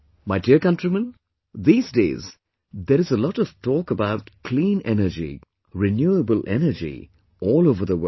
My dear countrymen, these days there is a lot of talk about clean energy, renewable energy all over the world